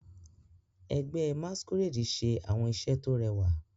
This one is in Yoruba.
Ẹgbẹ́ masquerade ṣe àwọn iṣẹ́ tó rẹwà.